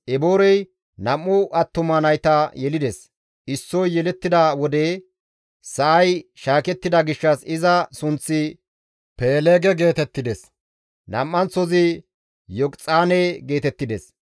Eboorey nam7u attuma nayta yelides; issoy yelettida wode sa7ay shaakettida gishshas iza sunththi Peeleege geetettides; nam7anththozi Yoqixaane geetettides.